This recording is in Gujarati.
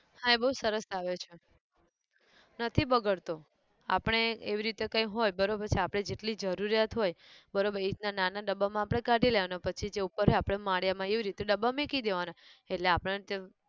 હા એ બઉ સરસ આવે છે, નથી બગડતો, આપણે એવી રીતે કંઈ હોય બરોબર છે આપણે જેટલી જરૂરિયાત હોય બરોબર એ રીતના નાના ડબ્બા માં આપણે કાઢી લેવાના પછી જે ઉપર હોય આપણે માળિયા માં એવી રીતે ડબ્બા માં મેકી દેવાનાં, એટલે આપણન જરૂર